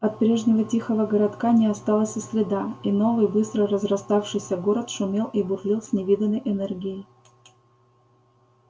от прежнего тихого городка не осталось и следа и новый быстро разраставшийся город шумел и бурлил с невиданной энергией